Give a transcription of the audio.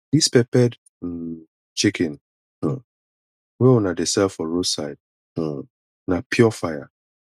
dis peppered um chicken um wey dem dey sell for roadside um na pure fire